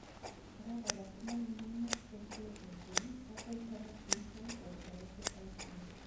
korak alak komongunen nerve compression, cheu carpal tunnel syndrome or thoracic outlet